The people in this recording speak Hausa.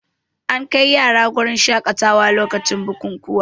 Ana kai yara wurin shaƙatawa lokacin bukukuwa